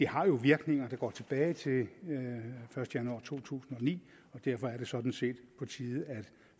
har virkninger der går tilbage til den første januar to tusind og ni derfor er det sådan set på tide at